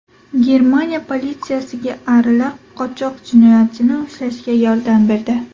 Germaniya politsiyasiga arilar qochoq jinoyatchini ushlashga yordam berdi.